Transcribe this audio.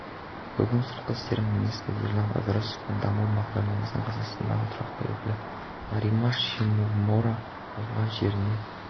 бүгін сыртқы істер министрі ерлан ыдырысов пен даму бағдарламасының қазақстандағы тұрақты өкілі норимас шимомура ауған жерінде